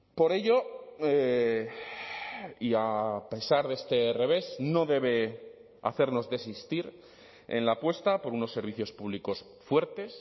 por ello y a pesar de este revés no debe hacernos desistir en la apuesta por unos servicios públicos fuertes